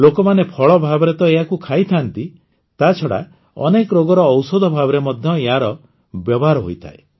ଲୋକମାନେ ଫଳ ଭାବରେ ତ ଏହାକୁ ଖାଇଥାନ୍ତି ତାଛଡ଼ା ଅନେକ ରୋଗର ଔଷଧ ଭାବରେ ମଧ୍ୟ ୟାର ବ୍ୟବହାର ହୋଇଥାଏ